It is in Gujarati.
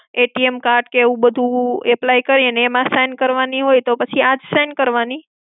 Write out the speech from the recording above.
card ને એવું બધું apply કરીએ ને એમાં sign કરવાની હોય તો પછી આ જ sign કરવાની?